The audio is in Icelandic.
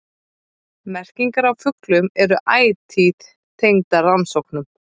Merkingar á fuglum eru ætíð tengdar rannsóknum.